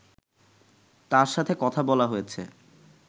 তাদের সাথে কথা বলা হয়েছে